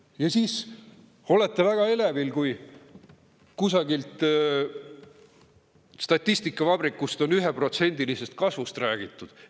Ja siis olete väga elevil, kui kusagil statistikavabrikus on 1%-lisest kasvust räägitud.